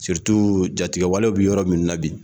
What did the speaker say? jatigɛwalew bɛ yɔrɔ minnu na bi